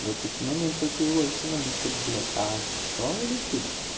вот в такие моменты вот ты и ловишь себя на мысли блядь сексуал ли ты